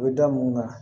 U bɛ da mun kan